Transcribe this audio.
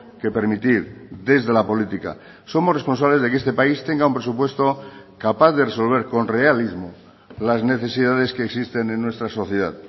que permitir desde la política somos responsables de que este país tenga un presupuesto capaz de resolver con realismo las necesidades que existen en nuestra sociedad